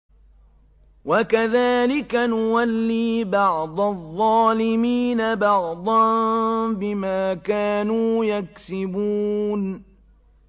وَكَذَٰلِكَ نُوَلِّي بَعْضَ الظَّالِمِينَ بَعْضًا بِمَا كَانُوا يَكْسِبُونَ